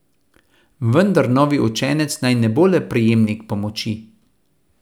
Vendar novi učenec naj ne bo le prejemnik pomoči.